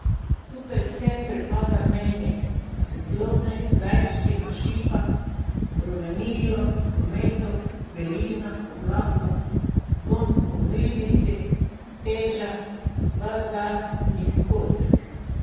Tukaj vse pripada meni, svetlobni zajčki na šipah, rumenilo ometov, belina oblakov, vonj po milnici, teža bazaltnih kock.